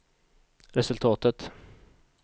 resultatet